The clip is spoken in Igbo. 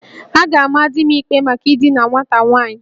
A ga-ama di m ikpe maka idina nwata nwaanyị